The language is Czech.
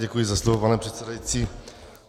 Děkuji za slovo, pane předsedající.